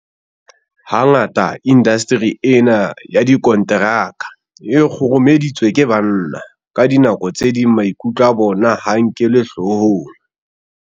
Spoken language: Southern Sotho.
Hangata indasteri ena ya dikonteraka e kgurumeditswe ke banna. Ka dinako tse ding maikutlo a bona ha a nkelwe hloohong.